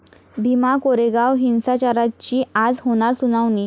भीमा कोरेगाव हिंसाचाराची आज होणार सुनावणी